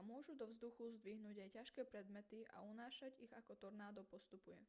a môžu do vzduchu zdvihnúť aj ťažké predmety a unášať ich ako tornádo postupuje